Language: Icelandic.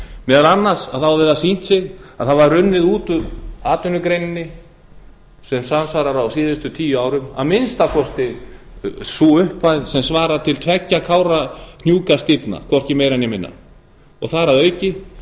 meðal annars hefur það sýnt sig að það hafa runnið út úr atvinnugreininni sem samsvarar á síðustu tíu árum að minnsta kosti þeirri upphæð sem svarar til tveggja kárahnjúkastíflna hvorki meira né minna þar